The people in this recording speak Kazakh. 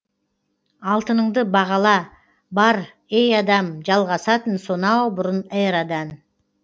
алтыныңды бағала бар ей адам жалғасатын сонау бұрын эрадан